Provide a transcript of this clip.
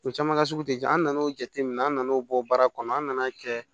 U caman ka sugu tɛ ja an nan'o jateminɛ an nan'o bɔ baara kɔnɔ an nan'a kɛ